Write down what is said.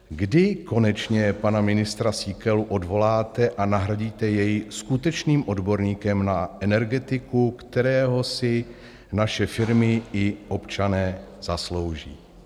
Kdy konečně pana ministra Síkelu odvoláte a nahradíte jej skutečným odborníkem na energetiku, kterého si naše firmy i občané zaslouží?